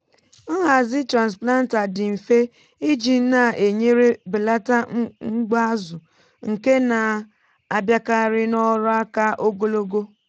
nhazi transplanter dị mfe iji na-enyere belata mgbu azụ nke na-abịakarị n’ọrụ aka ogologo.